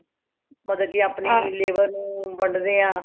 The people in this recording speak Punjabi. ਮਤਲਬ ਕਿ ਆਪਣੀ labor ਨੂੰ ਵੰਡਦੇ ਹਾਂ